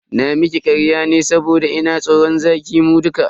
Na miki karya ne saboda ina tsoran za ki mun duka